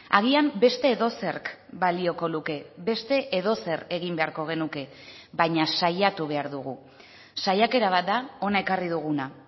agian beste edozerk balioko luke beste edozer egin beharko genuke baina saiatu behar dugu saiakera bat da hona ekarri duguna